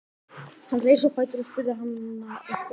Hann reis á fætur og spurði hana einhvers.